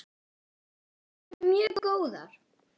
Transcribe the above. Þær væru mjög góðar.